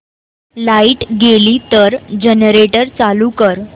light गेली तर generator चालू कर